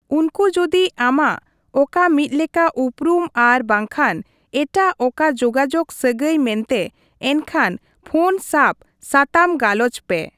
ᱩᱱᱠᱩ ᱡᱩᱫᱤ ᱟᱢᱟᱜ ᱚᱠᱟ ᱢᱤᱫᱞᱮᱠᱟ ᱩᱯᱨᱩᱢ ᱟᱨ ᱵᱟᱝᱠᱷᱟᱱ ᱮᱴᱟᱜ ᱚᱠᱟ ᱡᱳᱜᱟᱡᱳᱜᱽ ᱥᱟᱹᱜᱟᱹᱭ ᱢᱮᱱᱛᱮ, ᱮᱱᱠᱷᱟᱱ ᱯᱷᱳᱱ ᱥᱟᱵᱽ ᱥᱟᱛᱟᱢ ᱜᱟᱞᱚᱪ ᱯᱮ ᱾